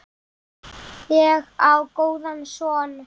Ég á góðan son.